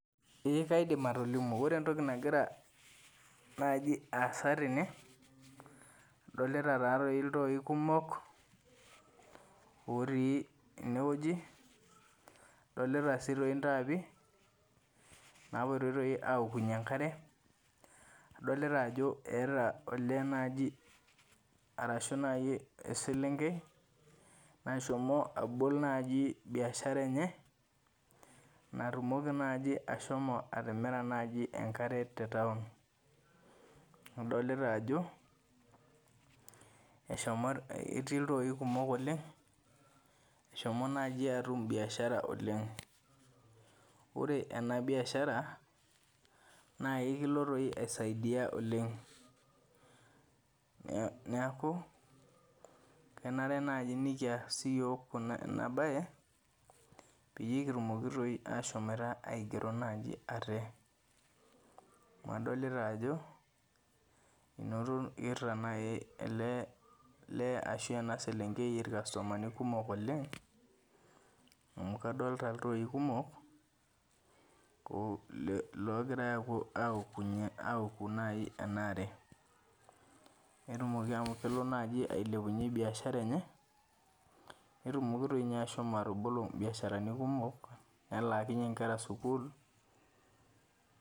Ee kaidim atolimu. Ore entoki nagira nai aasa tene, adolita tatoi iltoi kumok otii enewueji, adolita si toi intaapi napoitoi toi aokunye enkare, adolita ajo eeta olee naji arashu nai eselenkei, nashomo abol nai biashara enye, natumoki naji ashomo atimira enkare te taon. Adolita ajo, eshomo etii iltooi kumok oleng, eshomo naji atum biashara oleng. Ore ena biashara, na ekilo toi aisaidia oleng. Neeku, kenare naji nikias siyiok kuna enabae, peyie kitumoki toi ashomoita aigero naji ate. Amu adolita ajo, inoto kitaa nai ele ashu ena selenkei irkastomani kumok oleng, amu kadolta iltoi kumok, logirai aokunye aoku nai enaare. Netumoki amu kelo naji ailepunye biashara enye, netumoki toinye ashomo atabolo ibiasharani kumok, nelakinye nkera sukuul.